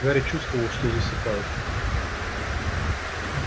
гарри чувствовал что засыпает